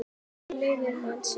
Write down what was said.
Hún lifir mann sinn.